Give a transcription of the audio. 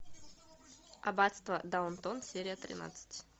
аббатство даунтон серия тринадцать